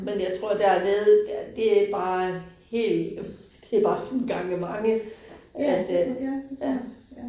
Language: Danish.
Men jeg tror dernede der det bare helt, det bare sådan gange mange. At øh ja